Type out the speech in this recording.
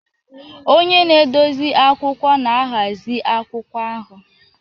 Onye na-edozi akwụkwọ na-ahazi akwụkwọ ahụ.